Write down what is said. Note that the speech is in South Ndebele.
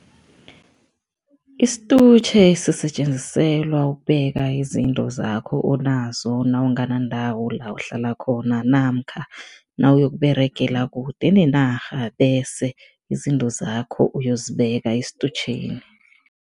Isitutjhe sisetjenziselwa ukubeka izinto zakho onazo nawunganandawo la uhlala khona namkha nawuyokUberegala kude nenarha bese izinto zakho uyozibeka esitutjheni.